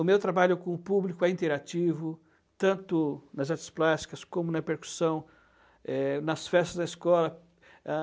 O meu trabalho com o público é interativo, tanto nas artes plásticas como na percussão, eh, nas festas da escola, ãh